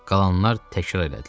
Qalanlar təkrar elədilər.